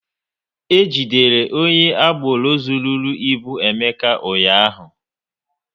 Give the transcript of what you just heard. E jidere onye agboro zụrụru ịbụ Emeka ụnyaahụ